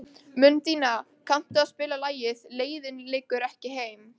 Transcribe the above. Mundína, kanntu að spila lagið „Leiðin liggur ekki heim“?